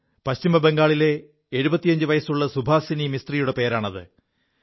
പശ്ചിമബംഗാളിലെ 75 വയസ്സുള്ള സുഭാസിനി മിസ്ത്രിയുടെ പേരാണ് അത്